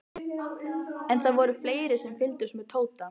En það voru fleiri sem fylgdust með Tóta.